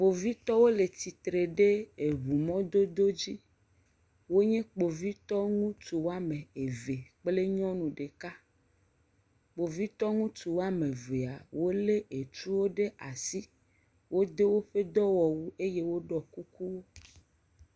Kpovitɔwo le tsitre ɖe eŋu mɔdodo dzi, wonye kpovitɔ ŋutsu woame eve kple nyɔnu ɖeka, kpovitɔ ŋutsu woame evea wolé etuwo ɖe asi, wodo woƒe dɔwɔwu eye woɖɔ kuku.